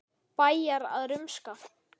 Bæjarar að rumska?